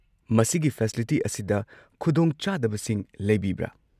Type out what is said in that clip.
ꯃꯁꯤꯒꯤ ꯐꯦꯁꯤꯂꯤꯇꯤ ꯑꯁꯤꯗ ꯈꯨꯗꯣꯡꯆꯥꯗꯕꯁꯤꯡ ꯂꯩꯕꯤꯕ꯭ꯔꯥ?